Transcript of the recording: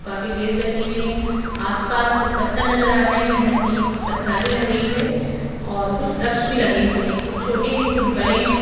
काफी तेज गती में आसपास कुछ पत्थर नजर आ रहे हैं धरती पत्राली लग रही है और कुछ वृक्ष भी लगे हुए हैं कुछ छोटे हैं कुछ बड़े हैं।